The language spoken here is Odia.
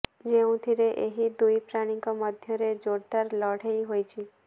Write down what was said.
ଯେଉଁଥିରେ ଏହି ଦୁଇ ପ୍ରାଣୀଙ୍କ ମଧ୍ୟରେ ଯୋରଦାର ଲଢେଇ ହୋଇଛି